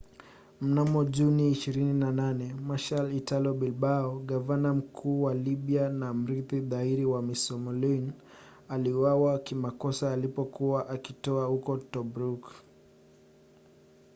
mnamo juni 28 marshal italo balbo gavana mkuu wa libya na mrithi dhahiri wa mussolini aliuawa kimakosa alipokuwa akitua huko tobruk